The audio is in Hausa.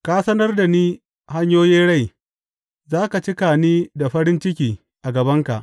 Ka sanar da ni hanyoyin rai, za ka cika ni da farin ciki a gabanka.’